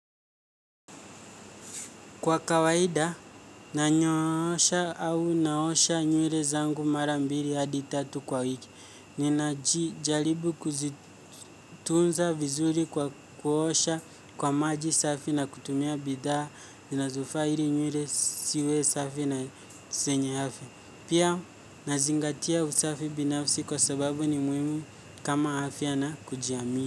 Kwa kawaida, nanyoosha au naosha nywele zangu mara mbili hadi tatu kwa wiki. Ninajaribu kuzitunza vizuri kwa kuosha kwa maji safi na kutumia bidhaa zinazofaa ili nywele ziwe safi na zenye afya. Pia, nazingatia usafi binafsi kwa sababu ni muhimu kama afya ana kujiamini.